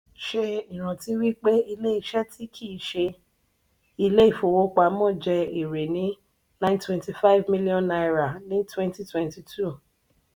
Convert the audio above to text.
ṣé ìrántí wípé ilé ìṣe tí kì ṣe ilé ifówopàmọ́ jẹ èrè ní nine twenty five million naira ní twenty tenty two.